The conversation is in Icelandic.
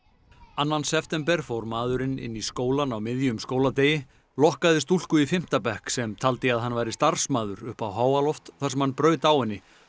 annan september fór maðurinn inn í skólann á miðjum skóladegi lokkaði stúlku í fimmta bekk sem taldi að hann væri starfsmaður upp á háaloft þar sem hann braut á henni